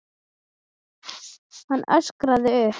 Hann öskraði upp.